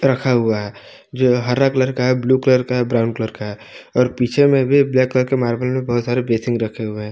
रखा हुआ है जो हरा कलर का है ब्लू कलर का है ब्राउन कलर का है और पीछे में भी ब्लैक करके मार्बल में बहुत सारे बासिंग रखे हुए हैं।